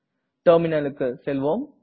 terminal க்கு செல்வோம்